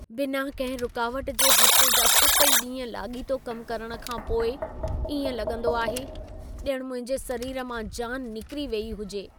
बिना कंहिं रुकावट जे हफ़्ते जा 7 ई ॾींहं लाॻीतो कम करण खां पोइ इएं लॻंदो आहे, ॼणु मुंहिंजे सरीर मां जान निकिरी वेई हुजे।